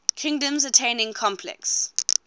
kingdoms attaining complex